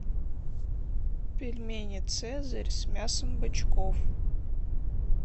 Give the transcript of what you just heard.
пельмени цезарь с мясом бычков